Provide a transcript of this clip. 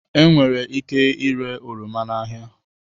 Enwere ike ire oroma n'ahịa